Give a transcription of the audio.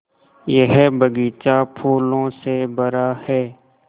यह बग़ीचा फूलों से भरा है